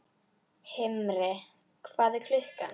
Himri, hvað er klukkan?